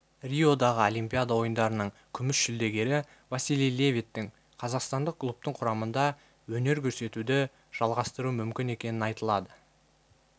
риодағы олимпиада ойындарының күміс жүлдегерівасилий левиттің қазақстандық клубтың құрамында өнер көрсетуді жалғастыруы мүмкін екені айтылады